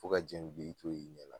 Fo ka jɛn wili i t'o ye ɲɛ la